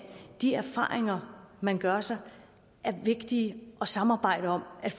de erfaringer man gør sig er vigtige at samarbejde om at